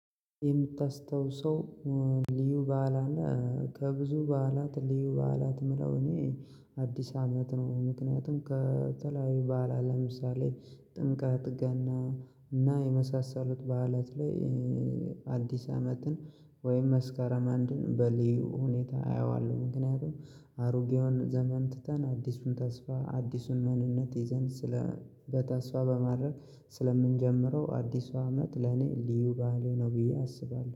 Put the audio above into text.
የምታስታውሰው ልዩ በዓል አለ? ከብዙ በዓላት ልዩ በዓላት ምለው እኔ አዲስ አመት ነው። ምክንያቱም ከተለያዩ በዓላት ለምሳሌ ጥምቀት ገና እና የመሳሰሉት በዓላት ላይ አዲስ አመትን ወይም መስከረም አንድን በልዩ ሁኔታ አየዋለሁ ምክንያቱም አሮጌውን ዘመን ትተን አዲሱን ተስፋ አዲሱን ማንነት ይዘን ስለ በተስፋ በማድረግ ስለምንጀምረው አዲሱ አመት ለኔ ልዩ ባዓሌ ነው። ብዬ አስባለሁ